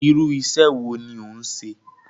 Irú iṣẹ́ wo ni òún ṣe?